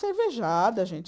Cervejada, gente.